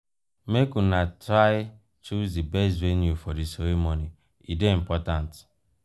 make una try choose di best venue for di ceremony e dey important.